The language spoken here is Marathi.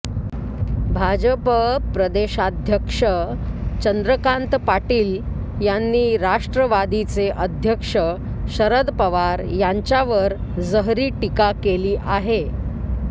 भाजप प्रदेशाध्यक्ष चंद्रकांत पाटील यांनी राष्ट्रवादीचे अध्यक्ष शरद पवार यांच्यावर जहरी टीका केली आहे